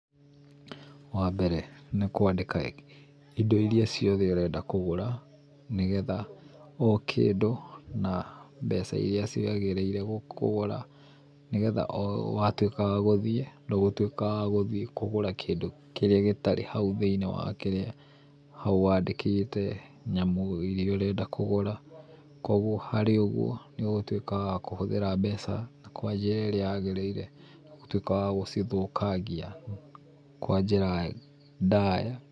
Wambere nĩkwandĩka indo iria ciothe ũrenda kũgũra nĩgetha ũkĩndĩ na mbeca iria ciagĩrĩire kũgũra, nĩgetha watuĩka wagũthiĩ ndũgũtuĩka wagũthiĩ kũgũra kĩndũ kĩrĩa gĩtarĩ hau thĩiniĩ wakĩrĩa hau wandĩkĩte nyamũ iria ũrenda kũgũra. Kuogwo harĩ ũguo nĩũgũtuĩka akũhũthĩra mbeca kwa njĩra ĩrĩa yagĩrĩire, gũtuĩka wa gũcithũkangia kwa njĩra ndaya.